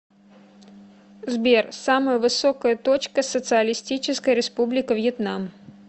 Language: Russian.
сбер самая высокая точка социалистическая республика вьетнам